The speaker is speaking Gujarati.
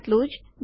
આટલું જ છે